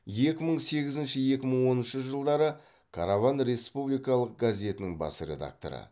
екі мың сегізінші екі мың он үшінші жылдары караван республикалық газетінің бас редакторы